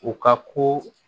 U ka ko